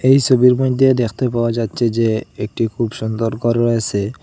এই সবির মধ্যে দেখতে পাওয়া যাচ্ছে যে একটি খুব সুন্দর ঘর রয়েসে।